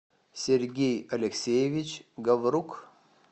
сергей алексеевич гаврук